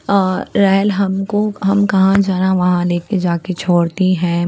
अ rail हमको हम कहाँ जाना वहाँ लेके जाके छोड़ती है।